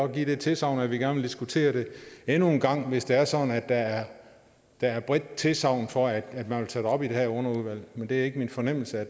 give det tilsagn at vi gerne vil diskutere det endnu en gang hvis det er sådan at der er bredt tilsagn for at at man vil tage det op i det her underudvalg men det er ikke min fornemmelse at